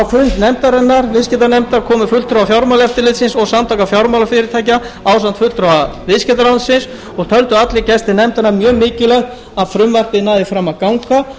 fund viðskiptanefndar komu fulltrúar fjármálaeftirlitsins og samtaka fjármálafyrirtækja ásamt fulltrúa viðskiptaráðuneytisins og töldu allir gestir nefndarinnar mjög mikilvægt að frumvarpið næði fram að ganga